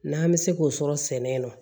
N'an bɛ se k'o sɔrɔ sɛnɛ na